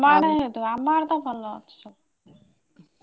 ତମ ଆଡେ ହେଇଥିବ ଆମ ଆଡେ ତ ଭଲ ଅଛି ସବୁ।